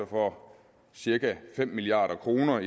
for cirka fem milliard kroner